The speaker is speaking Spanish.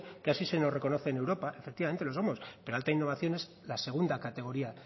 que así se nos reconoce en europa efectivamente lo somos pero alta innovación es la segunda categoría